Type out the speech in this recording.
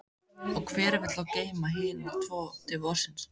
Og hver vill þá geyma hina tvo til vorsins?